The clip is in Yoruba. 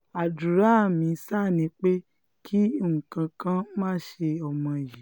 àdúrà mi ṣáá ni pé kí nǹkan kan má ṣe ọmọ yìí